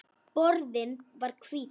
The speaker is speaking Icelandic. Borðinn var hvítur.